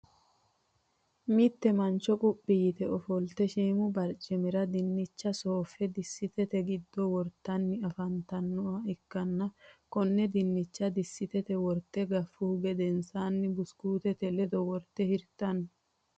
mitte mancho cuphi yitte ofolitte hiimu baricimira dinicha shoofe disittte giddo woritani afanitannoha ikanna konne dinicha disitete worite gafuhu gedensaanni busukutete leddo worite hiritanno.